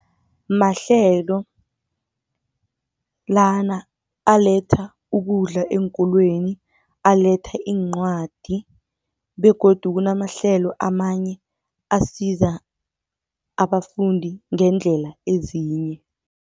Mahlelo lana aletha ukudla eenkolweni, aletha iincwadi begodu kunamahlelo amanye asiza abafundi ngendlela ezinye.